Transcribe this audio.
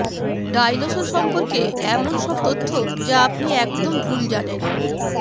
dinosaur সম্পর্কে এমন সব তথ্য যা আপনি একদম ভুল জানেন